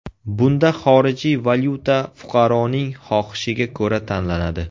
Bunda xorijiy valyuta fuqaroning xohishiga ko‘ra tanlanadi.